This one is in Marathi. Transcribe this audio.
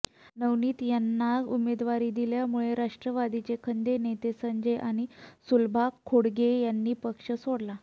नवनीत यांना उमेदवारी दिल्यामुळे राष्ट्रवादीचे खंदे नेते संजय आणि सुलभा खोडके यांनी पक्ष सोडला